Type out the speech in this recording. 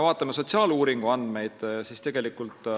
Vaatame sotsiaaluuringu andmeid.